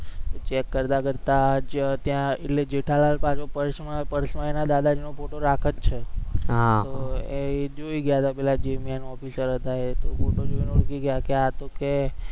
check કરતા કરતા જ્યાં ત્યાં એટલે જેઠાલાલ તા purse માં purse માં એના દાદાજી નો photo રાખે જ છે તો જૂઈ ગયા પેલા officer હતા એ તો આ તો કે